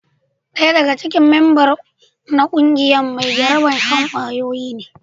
Daya daga cikin memba na kungiyar shi mai jarabar shan kwayoyi ne.